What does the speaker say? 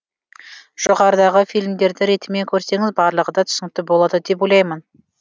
жоғарыдағы фильмдерді ретімен көрсеңіз барлығы да түсінікті болады деп ойлаймын